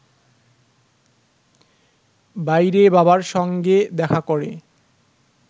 বাইরে বাবার সঙ্গে দেখা করে